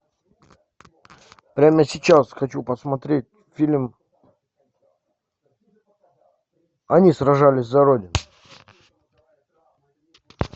прямо сейчас хочу посмотреть фильм они сражались за родину